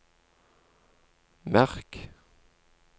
merk